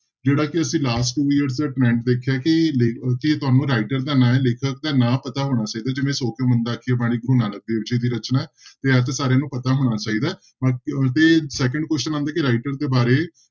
ਜਿਹੜਾ ਕਿ ਅਸੀਂ last two years ਦਾ trend ਦੇਖਿਆ ਕਿ ਲੇ ਕਿ ਤੁਹਾਨੂੰ writer ਦਾ ਨਾਂ, ਲੇਖਕ ਦਾ ਨਾਂ ਪਤਾ ਹੋਣਾ ਚਾਹੀਦਾ, ਜਿਵੇਂ ਸੌ ਕਿਉਂ ਮੰਦਾ ਆਖੀਐ ਬਾਣੀ ਗੁਰੂ ਨਾਨਕ ਦੇਵ ਜੀ ਦੀ ਰਚਨਾ ਹੈ ਤੇ ਇਹ ਤਾਂਂ ਸਾਰਿਆਂ ਨੂੰ ਪਤਾ ਹੋਣਾ ਚਾਹੀਦਾ ਹੈ ਅ ਤੇ second question ਆਉਂਦਾ ਕਿ writer ਦੇ ਬਾਰੇ